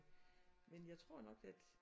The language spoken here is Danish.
Men jeg tror nok at